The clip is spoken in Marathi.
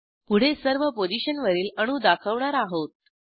पुढे सर्व पोझिशनवरील अणू दाखवणार आहोत